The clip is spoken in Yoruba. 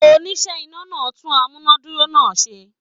Oníṣẹ́ iná náà tún amúnádúró náà ṣe.